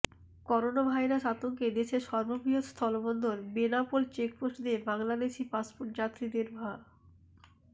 coronavirus আতঙ্কে দেশের সর্ববৃহৎ স্থলবন্দর বেনাপোল চেকপোস্ট দিয়ে বাংলাদেশি পাসপোর্ট যাত্রীদের ভা